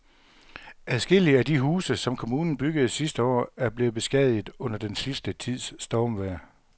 Adskillige af de huse, som kommunen byggede sidste år, er blevet beskadiget under den sidste tids stormvejr.